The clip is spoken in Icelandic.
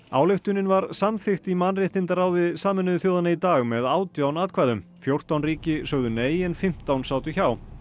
ályktunin var samþykkt í mannréttindaráði Sameinuðu þjóðanna í dag með átján atkvæðum fjórtán ríki sögðu nei en fimmtán sátu hjá